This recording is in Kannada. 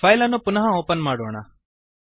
ಫೈಲ್ ಅನ್ನು ಪುನಃ ಓಪನ್ ಮಾಡೋಣ